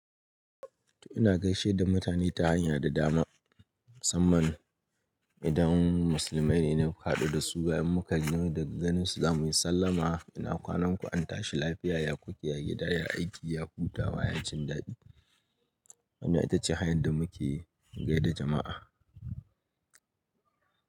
To ina gaishe da mutane ta hanya da dama, musamman idan musulmai ne na haɗu da su bayan muka gani daga ganinsu za mu yi sallama. Ina kwanan ku? An tashi lafiya, ya ku ke? Ya gida ya aiki, ya hutawa, yacin dadi. Wannan ita ce hanyar da muke gai da jama'a.